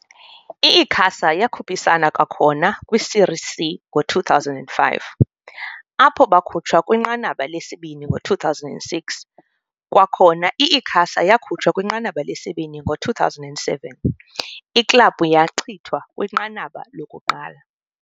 I-Icasa yakhuphisana kwakhona kwi-Série C ngo-2005, apho bakhutshwa kwinqanaba lesibini, ngo-2006, kwakhona i-Icasa yakhutshwa kwinqanaba lesibini, ngo-2007, iklabhu yachithwa kwinqanaba lokuqala.